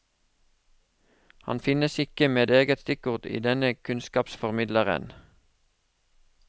Han finnes ikke med eget stikkord i denne kunnskapsformidleren.